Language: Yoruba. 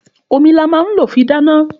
Òmí là má ń ló fì dàná